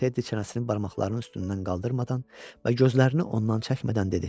Teddi çənəsinin barmaqlarının üstündən qaldırmadan və gözlərini ondan çəkmədən dedi.